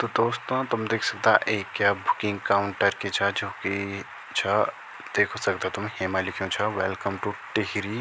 तो दोस्तों तुम दिख सकदा एक या बुकिंग काउंटर की छा जुकी छा देख सकदा तुम हेमा लिख्युं छा वेलकम टू टिहरी।